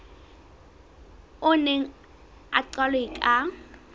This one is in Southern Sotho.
o neng o qalwe ka